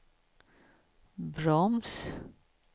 broms